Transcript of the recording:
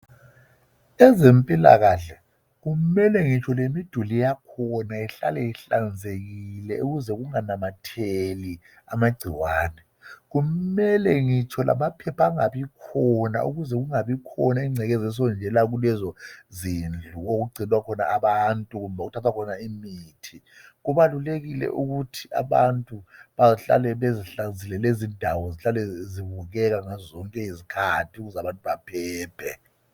ezempilakahle kumele ngitsho lemiduli yakhona ihlale inhlanzekile ukuze kunganamatheli amagcikwane kumele ngitsho lamaphepha angabikhona ukuze kungabikhona ingcekeza esondela kulezo zindlu okugcinwa khona abantu lokuthathwa khona imithi kubalulekile ukuthi abantu bahlale bezihlanzile lezindawo zihlale zibukeka ngazo zonke izikhathi ukuze abantu baphephe